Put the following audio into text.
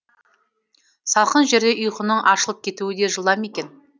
салқын жерде ұйқының ашылып кетуі де жылдам екен